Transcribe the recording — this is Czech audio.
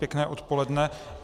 Pěkné odpoledne.